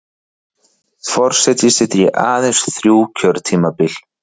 Forseti sitji aðeins þrjú kjörtímabil